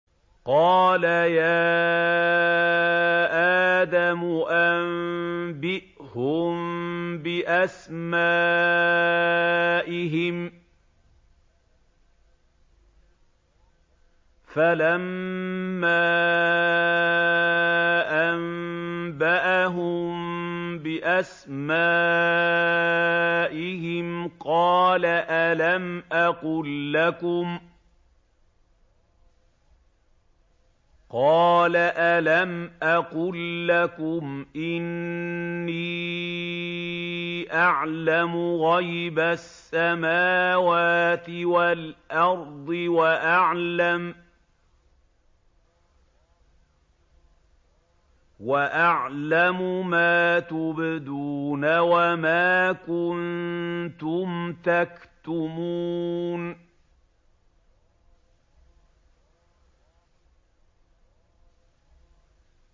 قَالَ يَا آدَمُ أَنبِئْهُم بِأَسْمَائِهِمْ ۖ فَلَمَّا أَنبَأَهُم بِأَسْمَائِهِمْ قَالَ أَلَمْ أَقُل لَّكُمْ إِنِّي أَعْلَمُ غَيْبَ السَّمَاوَاتِ وَالْأَرْضِ وَأَعْلَمُ مَا تُبْدُونَ وَمَا كُنتُمْ تَكْتُمُونَ